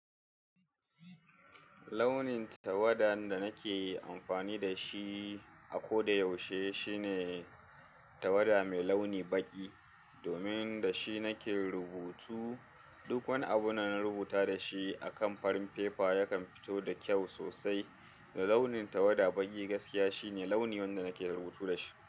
Launin tawadan da nake amfani da shi a ko da yaushe, shine tawada mai launi baƙi. Domin da shi nake rubutu. Duk wani abun da na rubuta da shi a kan farin fefa yakan fito da kyau sosai. Da launin tawada baƙi gaskiya shine launi wanda nake rubutu da shi.